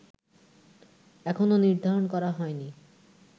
এখনো নির্ধারণ করা হয়নি